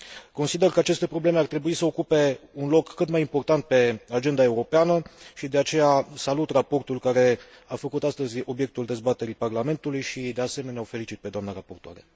Consider că aceste probleme ar trebui să ocupe un loc cât mai important pe agenda europeană și de aceea salut raportul care a făcut astăzi obiectul dezbaterii Parlamentului și, de asemenea, o felicit pe doamna raportoare.